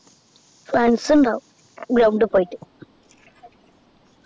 friends ഉണ്ടാകും ground പോയിട്ട്